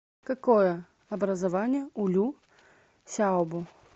какое образование у лю сяобо